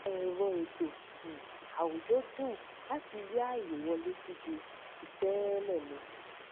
ẹrọ ètò um àwùjọ dùn láti rí ààye wọlé sí ju ti tẹẹlẹ lọ